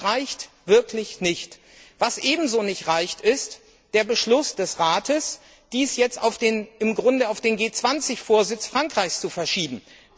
Das reicht wirklich nicht! Was ebenso nicht reicht, ist der Beschluss des Rates, dies jetzt im Grunde auf den G20 Vorsitz Frankreichs zu verschieben.